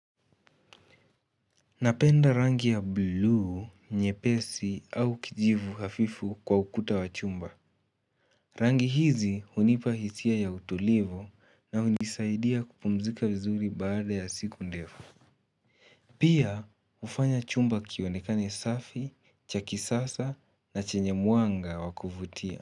Napenda rangi ya buluu nyepesi au kijivu hafifu kwa ukuta wa chumba Rangi hizi hunipa hitia ya utolivu na hunisaidia kupumzika vizuri baada ya siku ndefu Pia hufanya chumba kionekane safi cha kisasa na chenye mwanga wakuvutia.